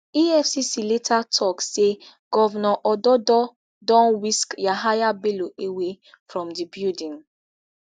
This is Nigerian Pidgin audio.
efcc later later tok say govnor ododo don whisk yahaya bello away from di building